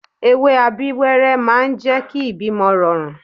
Ewé Abíwẹ́rẹ́ máa ń jẹ́ kí ìbímọ rọrùn